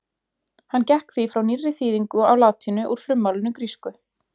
Hann gekk því frá nýrri þýðingu á latínu úr frummálinu grísku.